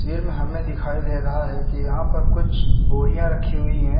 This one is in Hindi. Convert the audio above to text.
वीर में हमें दिखाई दे रहा है कि यहां पर कुछ बोरियां रखी हुई हैं।